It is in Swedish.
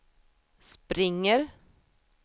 springer